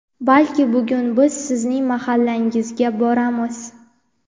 balki bugun biz sizning mahallangizga boramiz!.